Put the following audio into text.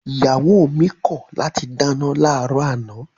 Ìyàwó mi kọ̀ láti dáná láàárọ̀ àná